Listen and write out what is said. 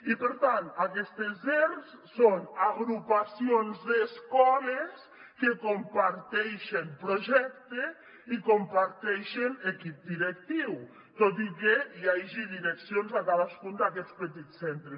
i per tant aquestes zers són agrupacions d’escoles que comparteixen projecte i comparteixen equip directiu tot i que hi hagi direccions a cadascun d’aquests petits centres